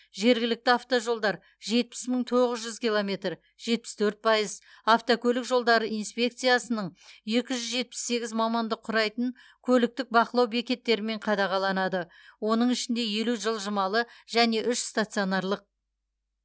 жергілікті автожолдар жетпіс мың тоғыз жүз километр жетпіс төрт пайыз автокөлік жолдары инспекцияның екі жүз жетпіс сегіз маманды құрайтын көліктік бақылау бекеттерімен қадағаланады оның ішінде елу жылжымалы және үш стационарлық